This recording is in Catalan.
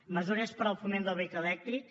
mesures per al foment del vehicle elèctric